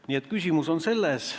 Nii et küsimus on selles.